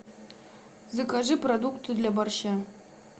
закажи продукты для борща